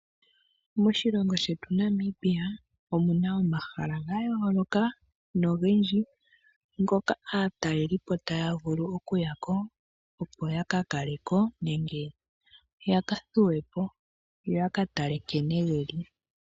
Moshilongo shetu Namibia omuna omahala gaayoloka nogendji, ngoka aatalelipo taya vulu okuyako, opo yaka kale ko, nenge yaka thuwe po, yo yaka tale nkene geli.